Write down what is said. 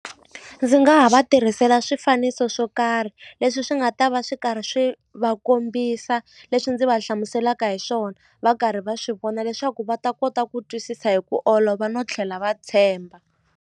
Ndzi nga ha va tirhisela swifaniso swo karhi leswi swi nga ta va swi karhi swi va kombisa leswi ndzi va hlamuselaka hi swona va karhi va swi vona leswaku va ta kota ku twisisa hi ku olova no tlhela va tshemba.